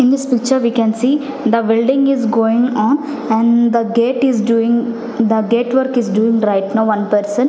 in this picture we can see the building is going on and the gate is doing the gate work is doing right now one person.